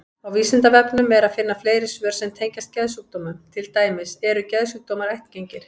Á Vísindavefnum er að finna fleiri svör sem tengjast geðsjúkdómum, til dæmis: Eru geðsjúkdómar ættgengir?